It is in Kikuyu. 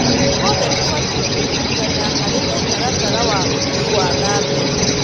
Ithuothe tũbatiĩ kũnyitana harĩ mũtaratara wa ũthii wa na mbere.